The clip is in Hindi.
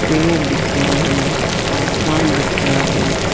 पेड़ दिख रहे हैं आसमान दिख रहा है।